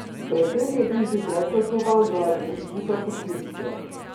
Pred tem je bil že predkaznovan zaradi poskusa posilstva.